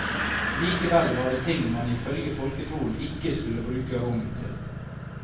Likevel var det ting man ifølge folketroen ikke skulle bruke rogn til.